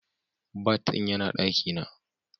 Bat din yana daki na.